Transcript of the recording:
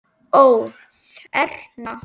Ó: Þerna?